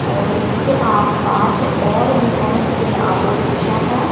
और इसके आसपास और भी बहोत से ऑटो रिक्शा है।